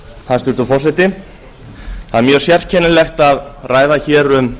hæstvirtur forseti það er mjög sérkennilegt að ræða hér um